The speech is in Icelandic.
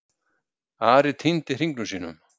Ari týndi hringnum sínum.